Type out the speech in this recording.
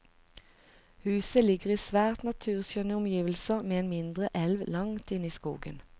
Huset ligger i svært naturskjønne omgivelser ved en mindre elv langt inne i skogen.